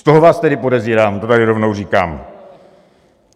Z toho vás tedy podezírám, to tady rovnou říkám.